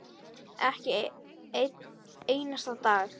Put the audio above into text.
Ekki einn einasta dag.